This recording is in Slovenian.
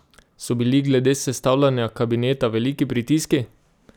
So bili glede sestavljanja kabineta veliki pritiski?